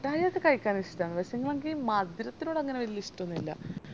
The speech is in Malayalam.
മുട്ടായി ഒക്കെ കായ്ക്കാൻ ഇഷ്ട്ടന്ന് പക്ഷേങ്കിഎനക്ക് ഈ മധുരത്തിനോട് അങ്ങനെ വെല്യ ഇഷ്‌ട്ടന്നുല്ലാ